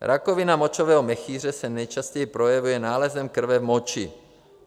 Rakovina močového měchýře se nejčastěji projevuje nálezem krve v moči.